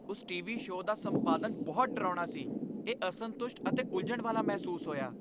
ਉਸ TV. Show ਦਾ ਸੰਪਾਦਨ ਬਹੁਤ ਡਰਾਉਣਾ ਸੀ। ਇਹ ਅਸੰਤੁਸ਼ਟ ਅਤੇ ਉਲਝਣ ਵਾਲਾ ਮਹਿਸੂਸ ਹੋਇਆ।